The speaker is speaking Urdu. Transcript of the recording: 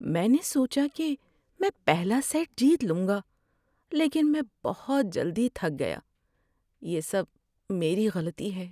میں نے سوچا کہ میں پہلا سیٹ جیت لوں گا، لیکن میں بہت جلدی تھک گیا۔ یہ سب میری غلطی ہے۔